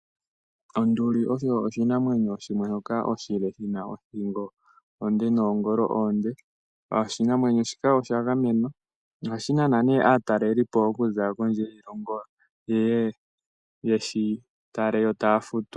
Onduli osho oshinamwenyo shimwe shoka oshile, shina othingo onde noongolo oonde. Oshinamwenyo shika osha gamenwa ohashi nana ne aatalelipo okuza kondje yiilongo yeye yeshi tale yo taya futu.